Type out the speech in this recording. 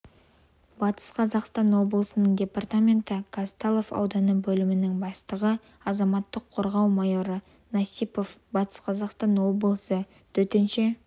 батыс қазақстан облысының департаменті казталов ауданы бөлімінің бастығы азаматтық қорғау майоры насипов батыс қазақстан облысы төтенше